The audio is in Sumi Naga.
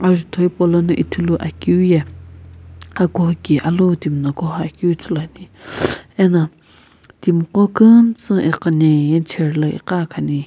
ajutho hepou lono Ithulu akeu yae akuho ki timi alu lo timi na koho keu ithulu ane.